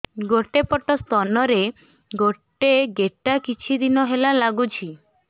ଗୋଟେ ପଟ ସ୍ତନ ରେ ଗୋଟେ ଗେଟା କିଛି ଦିନ ହେଲା ଲାଗୁଛି